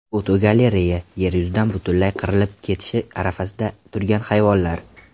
Fotogalereya: Yer yuzidan butunlay qirilib ketish arafasida turgan hayvonlar.